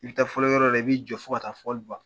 I bɛ taa fɔliyɔrɔ la i b'i jɔ fo ka taa fɔli ban